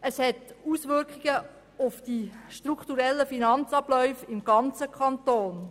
Dieses hat Auswirkungen auf die strukturellen Finanz-Abläufe im ganzen Kanton.